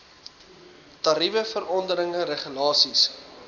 tariewe verordeninge regulasies